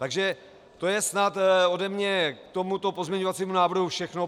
Takže to je snad ode mne k tomuto pozměňovacímu návrhu všechno.